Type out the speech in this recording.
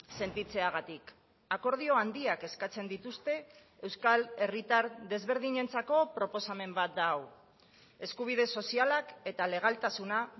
sentitzeagatik akordio handiak eskatzen dituzte euskal herritar desberdinentzako proposamen bat da hau eskubide sozialak eta legaltasuna